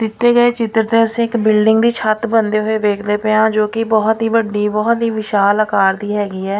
ਦਿੱਤੇ ਗਏ ਚਿੱਤਰ ਤੇ ਅਸੀਂ ਇੱਕ ਬਿਲਡਿੰਗ ਦੀ ਛੱਤ ਬੰਦੇ ਹੋਏ ਵੇਖਦੇ ਪਏ ਆਂ ਜੋ ਕਿ ਬਹੁਤ ਹੀ ਵੱਡੀ ਬਹੁਤ ਹੀ ਵਿਸ਼ਾਲ ਆਕਾਰ ਦੀ ਹੈਗੀ ਐ।